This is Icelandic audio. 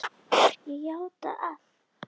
Ég játa allt